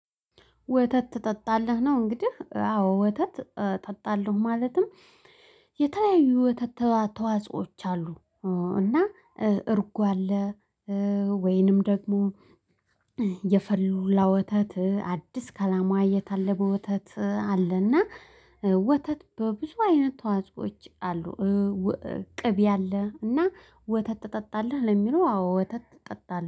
ወተት ትጠጣለህ ነው? እንግዲህ አዎ ወተት እጠጣለሁ። ማለትም የተለያዩ ወተት ተዋጾዎች አሉ። እና እርጎ አለ። ወይንም ደግሞ የፈላ ወተት አዲስ ከላሟ የታለበ በወተት አለና። ወተት በብዙ አይነት ተዋጽኦዎች አሉ። ቅቤ አለ እና ወተት ትጠጣለህ ለሚለው አወ ወተት ትጠጣለህ